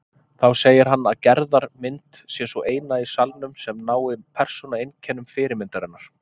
Þá segir hann að Gerðar mynd sé sú eina í salnum sem nái persónueinkennum fyrirmyndarinnar.